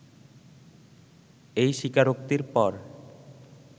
এই স্বীকারোক্তির পর